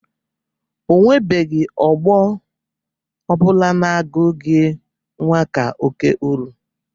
O nwebeghi ọgbọ ọ bụla na-agụgị nwa ka oke uru.